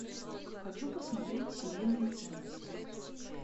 хочу посмотреть семейные ценности